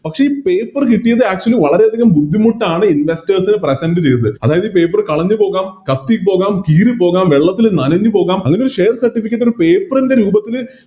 പക്ഷെ ഈ Paper കിട്ടിയത് Actually വളരെയധികം ബുദ്ധിമുട്ടാണ് Investors present ചെയ്തത് അതായതു ഈ Paper കളഞ്ഞ് പോകാം കത്തി പോകാം കീറി പോകാം വെള്ളത്തില് നനഞ്ഞ് പോകാം അങ്ങനെയൊരു Share certificate ന് ഒര് paper രൂപത്തില്